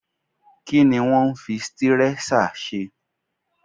Kí ni wọ́n ń fi stírẹ́ṣà ṣe?